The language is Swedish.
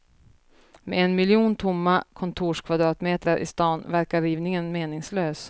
Med en miljon tomma kontorskvadratmetrar i stan, verkar rivningen meningslös.